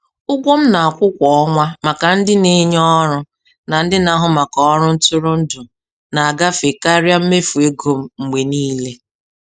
Ụgwọ m na-akwụ kwa ọnwa maka ndị n'enye ọrụ na ndị na-ahụ maka ọrụ ntụrụndụ na-agafe karịa mmefu ego m mgbe niile.